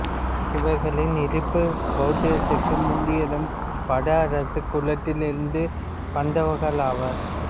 இவர்களின் இருப்பு பௌத்தத்திற்கு முந்தியதும் வட அரச குலத்தில் இருந்து வந்தவர்களாவர்